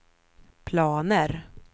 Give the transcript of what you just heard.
planer